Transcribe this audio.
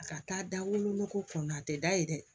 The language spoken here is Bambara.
A ka taa da wolonugu kun na a tɛ da yen dɛ